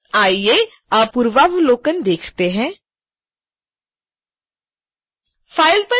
आइए अब पूर्वावलोकन देखते हैं file पर जाएँ और फिर preview पर क्लिक करें